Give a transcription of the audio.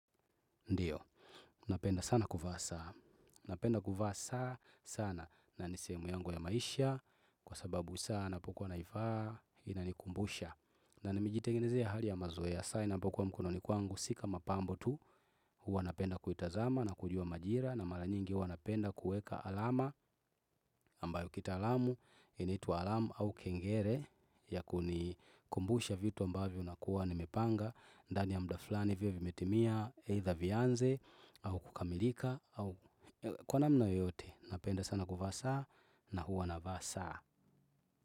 Ndiyo, napenda sana kuvaa saa, napenda kuvaa saa sana na ni sehemu yangu ya maisha kwa sababu saa napokuwa naivaa inanikumbusha. Na nimejitengenezea hali ya mazoea saa inapokuwa mkononi kwangu si kama pambo tu huwa napenda kuitazama na kujua majira na mara nyingi huwa napenda kueka alama ambayo kitaalamu inaitwa alarm au kengele ya kunikumbusha vitu ambavyo nakuwa nimepanga. Ndani ya mda fulani viwe vimetimia either vianze au kukamilika kwa namna yoyote napenda sana kuvaa saa na huwa navaa saa.